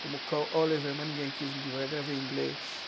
Como o Oliver Manningham quis me divulgar, gravei em inglês.